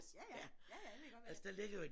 Ja ja ja ja det ved jeg godt hvad er